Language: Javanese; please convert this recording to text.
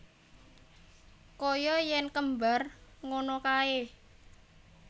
Kaya yen kembar ngono kae